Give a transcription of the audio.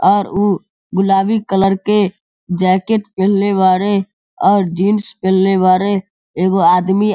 और उ गुलाबी कलर के जैकेट पहीनले बाड़े और जीन्स पहीनले बाड़े एगो आदमी --